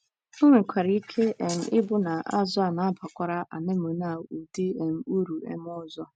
O nwekwara ike um ịbụ na azụ̀ a na - abakwara anemone ụdị um uru um ọzọ.